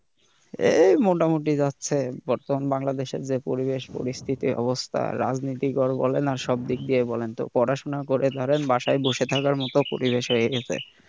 এই মোটামুটি যাচ্ছে বর্তমান বাংলাদেশের যে পরিবেশ পরিস্থিতির অবস্থা রাজনীতিকর বলেন আর সবদিক দিয়ে বলেন পড়াশোনা করেন ধরেন বাসায় বসে থাকার মতো পরিবেশ হয়ে গেছে।